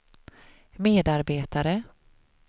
medarbetare